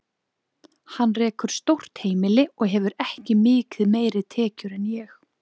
Hann rekur stórt heimili og hefur ekki mikið meiri tekjur en ég.